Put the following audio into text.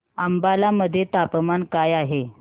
अंबाला मध्ये तापमान काय आहे